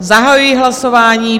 Zahajuji hlasování.